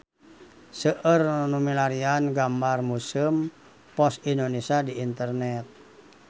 Seueur nu milarian gambar Museum Pos Indonesia di internet